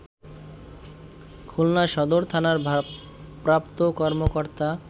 খুলনা সদর থানার ভারপ্রাপ্ত কর্মকর্তা